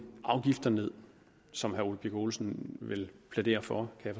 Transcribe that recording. afgifter ned som herre ole birk olesen vel plæderer for kan